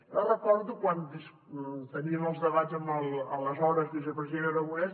jo recordo quan teníem els debats amb l’aleshores vicepresident aragonès